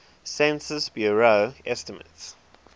census bureau estimates